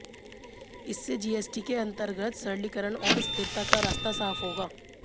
इससे जीएसटी के अंतर्गत सरलीकरण और स्थिरता का रास्ता साफ होगा